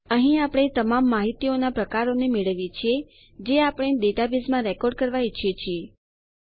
અહીં આપણે તમામ માહિતીઓનાં પ્રકારોને મેળવીએ છીએ જે આપણે ડેટાબેઝમાં રેકોર્ડ કરવા ઈચ્છીએ છીએ